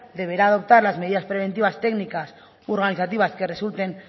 deberá adoptar las medidas preventivas técnicas u organizativas que resulten